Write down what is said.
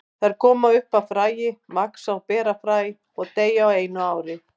Þær koma upp af fræi, vaxa og bera fræ og deyja á einu ári.